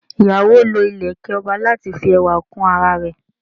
Oko ìyàwó lọ ileke ọba láti fi ẹwà kún ara rẹ